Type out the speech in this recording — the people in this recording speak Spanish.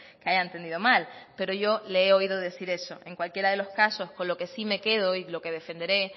que haya entendido mal pero yo le he oído decir eso el cualquiera de los casos con lo que sí me quedo y lo que defenderé